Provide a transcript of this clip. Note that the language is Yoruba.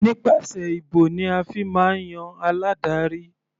Nípasẹ̀ ìbò ni a fi máa ń yan aládarí.